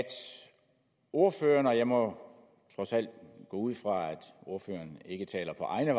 ordføreren jeg må trods alt gå ud fra at ordføreren ikke taler på egne